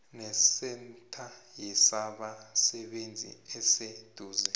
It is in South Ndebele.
nesentha yezabasebenzi eseduze